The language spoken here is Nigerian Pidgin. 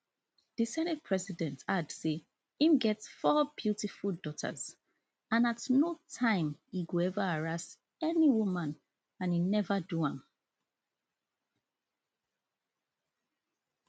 di senate president add say im get four beautiful daughters and at no time i go ever haraas any woman and i neva do am